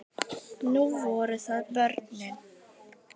Nú voru það börnin.